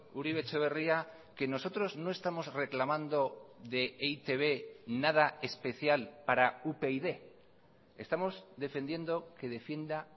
uribe etxebarria que nosotros no estamos reclamando de e i te be nada especial para upyd estamos defendiendo que defienda